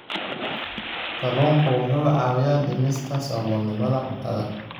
Kalluunku wuxuu caawiyaa dhimista saboolnimada cuntada.